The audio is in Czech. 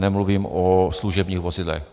Nemluvím o služebních vozidlech.